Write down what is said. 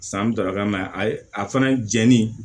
San mi taga n'a ye a ye a fana jɛni